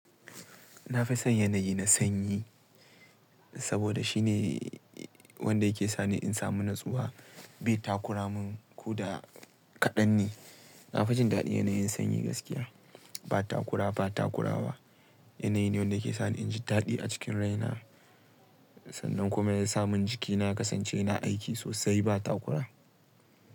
Na fi son yanayi na sanyi saboda shine wanda yake sani in samu natsuwa bai takura mun ko da kaɗan ne. Na fi jin daɗin yanayin sanyi gaskiya, ba takura ba takurawa. Yanayi ne wanda ke sani inji daɗi a cikin rai na sannan kuma yasa min jikina ya kasance yana aiki sosai ba takura.